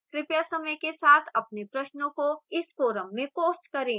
कृपया समय के साथ अपने प्रश्नों को इस forum में post करें